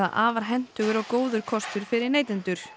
afar hentugur og góður kostur fyrir neytendur